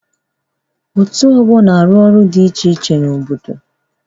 Òtù ọgbọ na-arụ ọrụ dị iche iche n'obodo.